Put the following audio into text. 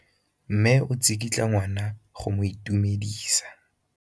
Mme o tsikitla ngwana go mo itumedisa.